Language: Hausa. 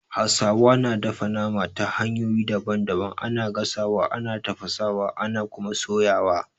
Hausawa na dafa nama ta hanyoyi daban daban, ana gasawa, ana tafasawa, ana Kuma soyawa